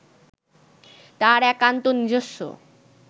তাঁর একান্ত নিজস্ব